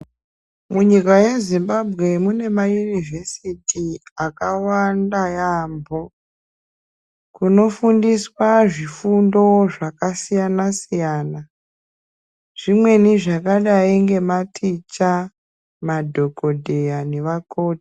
Munyika yeZimbabwe mune mayunivhesiti akawanda yaamho, kunofundiswa zvifundo zvakasiyana siyana zvimweni zvakadai ngematicha, madhokodheya nevakoti.